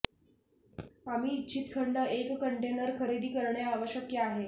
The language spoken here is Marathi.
आम्ही इच्छित खंड एक कंटेनर खरेदी करणे आवश्यक आहे